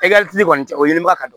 kɔni cɛ o ɲinibaga ka dɔgɔ